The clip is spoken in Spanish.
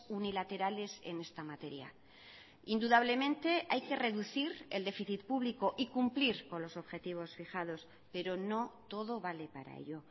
unilaterales en esta materia indudablemente hay que reducir el déficit público y cumplir con los objetivos fijados pero no todo vale para ello